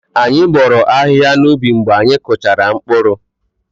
Anyị bọọrọ ahịhịa n'ubi mgbe anyị kpụchara mkpụrụ.